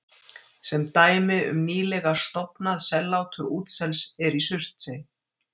dæmi um nýlega „stofnað“ sellátur útsels er í surtsey